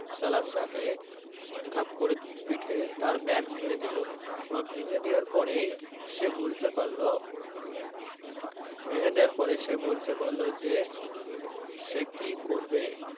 সাহেব কে ঘাপ করে পিঠের bag ভেঙে দিলো। ভেঙে দেওয়ার পরেই সে বুঝতে পারলো পরে সে বুঝতে পারলো যে সে কি করবে।